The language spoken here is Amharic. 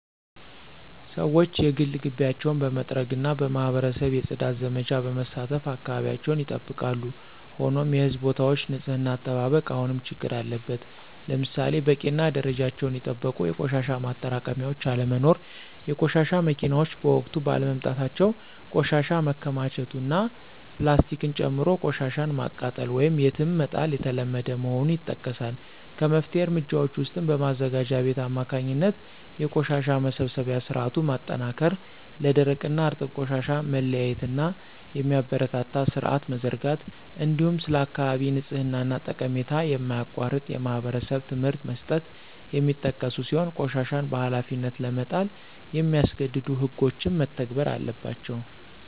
ሰዎች የግል ግቢያቸውን በመጥረግና በማኅበረሰብ የፅዳት ዘመቻዎች በመሳተፍ አካባቢያቸውን ይጠብቃሉ። ሆኖም የሕዝብ ቦታዎች ንፅህና አጠባበቅ አሁንም ችግር አለበት። ለምሳሌ በቂና ደረጃቸውን የጠበቁ የቆሻሻ ማጠራቀሚያዎች አለመኖር፣ የቆሻሻ መኪናዎች በወቅቱ ባለመምጣታቸው ቆሻሻ መከማቸቱ እና ፕላስቲክን ጨምሮ ቆሻሻን ማቃጠል ወይም የትም መጣል የተለመደ መሆኑ ይጠቀሳል። ከመፍትሄ እርምጃዎች ውስጥም በማዘጋጃ ቤት አማካኝነት የቆሻሻ መሰብሰቢያ ሥርዓቱን ማጠናከር፣ ለደረቅና እርጥብ ቆሻሻ መለያየትን የሚያበረታታ ሥርዓት መዘርጋት፣ እንዲሁም ስለ አካባቢ ንጽሕና ጠቀሜታ የማያቋርጥ የማኅበረሰብ ትምህርት መስጠት የሚጠቀሱ ሲሆን ቆሻሻን በኃላፊነት ለመጣል የሚያስገድዱ ሕጎችም መተግበር አለባቸው።